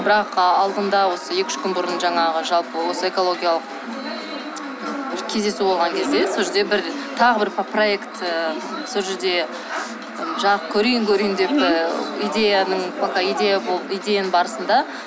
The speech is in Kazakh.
бірақ ы алдында осы екі үш күн бұрын жаңағы жалпы осы экологиялық кездесу болған кезде сол жерде бір тағы бір проект і сол жерде жарық көрейін көрейін деп идеяның пока идея болып идеяның барысында